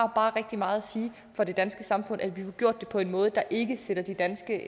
bare rigtig meget at sige for det danske samfund at vi får gjort det på en måde der ikke sætter de danske